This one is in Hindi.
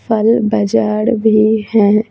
फल बाजार भी है।